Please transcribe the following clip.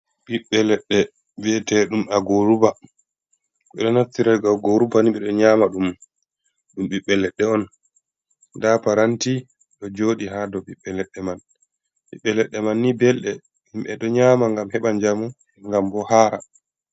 Biɓɓe leɗɗe vi'eteɗum a goruba. Beɗo nattiro a goruba beɗo nyama ɗum. Ɗum ɓiɓɓe leɗɗe on. Ɗa paranti ɗo joɗi ha ɗow biɓɓe ledɗe man. Biɓɓe leɗɗe man ni belɗe. Himbe ɗo nyama ngam heɓa jamu ngam bo hara.